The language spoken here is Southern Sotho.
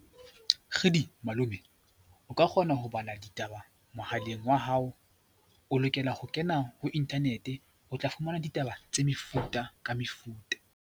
Kgidi! malome, o ka kgona ho bala ditaba mohaleng wa hao. O lokela ho kena ho internet, o tla fumana ditaba tse mefuta ka mefuta.